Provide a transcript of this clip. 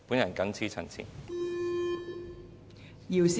我謹此陳辭。